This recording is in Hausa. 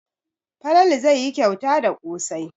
Falalu zai yi kyauta da ƙosai.